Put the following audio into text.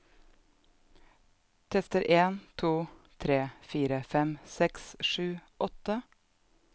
Tester en to tre fire fem seks sju åtte